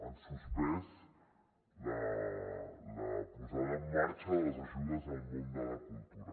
han suspès la posada en marxa de les ajudes al món de la cultura